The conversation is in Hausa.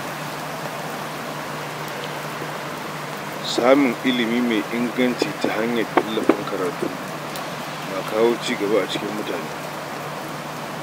Samun ilimi mai inganci ta hanyar tallafin karatu yana kawo cigaba a tsakanin mutane.